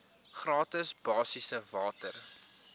gratis basiese water